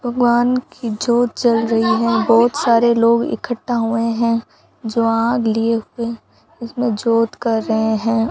भगवान की ज्योत जल रही है बहोत सारे लोग इकट्ठा हुए हैं जो आग लिए हुए इसमें ज्योत कर रहे हैं।